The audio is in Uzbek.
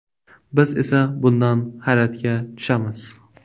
Biz esa bundan hayratga tushamiz” .